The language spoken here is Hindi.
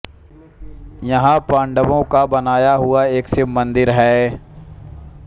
यहां पांडवों का बनाया हुआ एक शिव मंदिर है